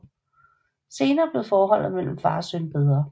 Senere blev forholdet mellem far og søn bedre